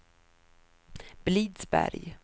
Blidsberg